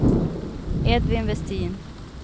Edvin Vestin